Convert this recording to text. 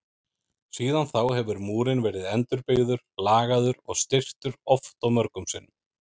Síðan þá hefur múrinn verið endurbyggður, lagaður og styrktur oft og mörgum sinnum.